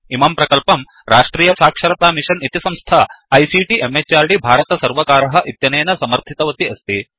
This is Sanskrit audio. इमं प्रकल्पं राष्ट्रिय साक्षरता मिशन् इति संस्था आईसीटी MHRDभारत सर्वकारः इत्यनेन समर्थितवती अस्ति